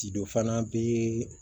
Cido fana bɛ